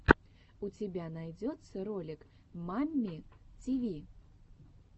у тебя найдется ролик мамми тиви